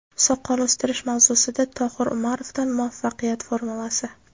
Soqol o‘stirish mavzusida Tohir Umarovdan muvaffaqiyat formulasi!.